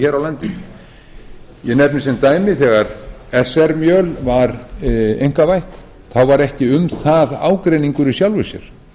hér á landi ég nefni sem dæmi að þegar sr mjöl var einkavætt var ekki um það ágreiningur í sjálfu sér